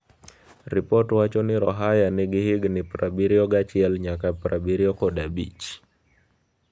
Ripot wacho ni Rohaya nigi higni prabiriogiachiel nyaka prabiriokodabich.